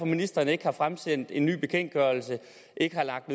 ministeren ikke har fremsendt en ny bekendtgørelse eller lagt